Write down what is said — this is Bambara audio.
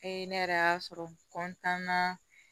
ne yɛrɛ y'a sɔrɔ na